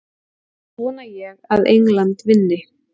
Annars vona ég að England vinni.